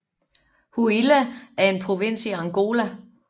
Huila er en provins i Angola